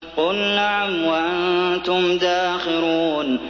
قُلْ نَعَمْ وَأَنتُمْ دَاخِرُونَ